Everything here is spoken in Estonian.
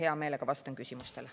Hea meelega vastan küsimustele.